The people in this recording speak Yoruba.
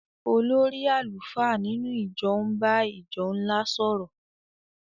olórí àlùfáà nínú ìjọ ń bá ìjọ ńlá sọ̀rọ̀.